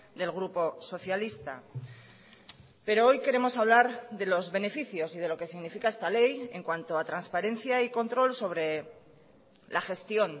del grupo socialista pero hoy queremos hablar de los beneficios y de lo que significa esta ley en cuanto a transparencia y control sobre la gestión